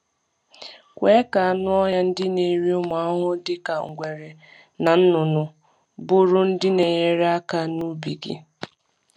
Kwe ka anụ ọhịa ndị na-eri ụmụ ahụhụ dịka ngwere na nnụnụ bụrụ ndị na-enyere aka n’ubi gị.